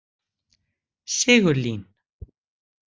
Sigurlín